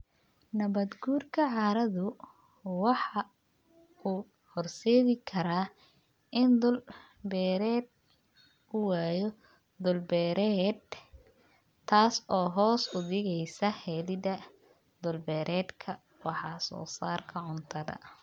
Nabaad guurka carradu waxa uu horseedi karaa in dhul-beereed uu waayo dhul-beereed, taas oo hoos u dhigaysa helidda dhul-beereedka wax-soo-saarka cuntada.